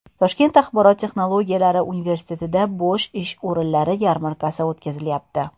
Toshkent axborot texnologiyalari universitetida bo‘sh ish o‘rinlari yarmarkasi o‘tkazilyapti.